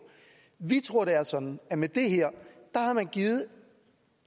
vi tror det er sådan at med det her har man givet